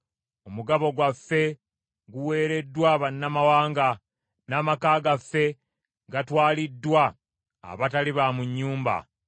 Omugabo gwaffe guweereddwa bannamawanga, n’amaka gaffe gatwaliddwa abatali ba mu nnyumba.